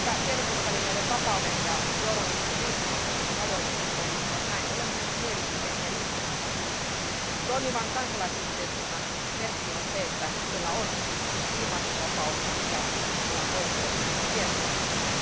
Niinpä tiedotusvälineiden vapauden ja journalismin riippumattomuuden rajoitukset kohdistuvat näin ollen myös mielipiteen ja ilmaisun vapauteen. Toimivan kansalaisyhteiskunnan merkki on, että ihmisillä on ilmaisuvapaus ja oikeus tiedonsaantiin.